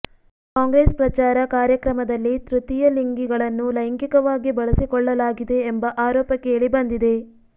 ಕಾಂಗ್ರೆಸ್ ಪ್ರಚಾರ ಕಾರ್ಯಕ್ರಮದಲ್ಲಿ ತೃತೀಯ ಲಿಂಗಿಗಳನ್ನು ಲೈಂಗಿಕವಾಗಿ ಬಳಸಿಕೊಳ್ಳಲಾಗಿದೆ ಎಂಬ ಆರೋಪ ಕೇಳಿ ಬಂದಿದೆ